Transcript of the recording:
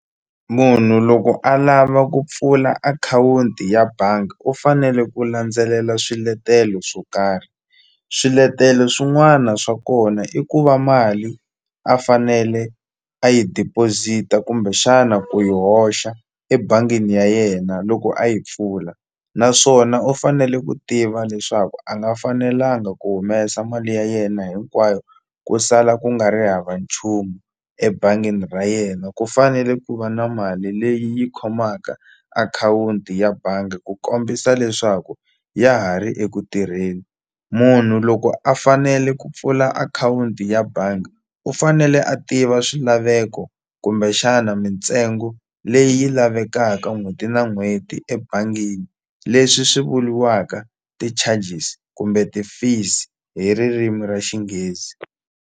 Munhu loko a lava ku pfula akhawunti ya banga u fanele ku landzelela swiletelo swo karhi swiletelo swin'wana swa kona i ku va mali a fanele a yi deposit-a kumbexana ku yi hoxa ebangini ya yena loko a yi pfula naswona u fanele ku tiva leswaku a nga fanelanga ku humesa mali ya yena hinkwayo ku sala ku nga ri hava nchumu ebangini ra yena ku fanele ku va na mali leyi yi khomaka akhawunti ya bangi ku kombisa leswaku ya ha ri eku tirheni munhu loko a fanele ku pfula akhawunti ya bangi u fanele a tiva swilaveko kumbexana mintsengo leyi lavekaka n'hweti na n'hweti ebangini leswi swi vuliwaka ti-charges kumbe ti-fees hi ririmi ra xinghezi.